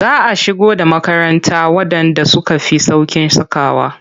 Za a shigo da makaranta waɗanda suka fi sauƙin sakawa.